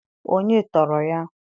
Onye tọọrọ ya?